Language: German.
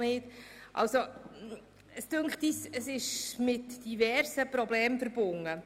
Wir finden, das Ganze ist mit diversen Problemen verbunden.